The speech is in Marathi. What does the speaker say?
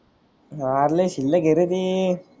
आह अरे लई शील्लक है रे ते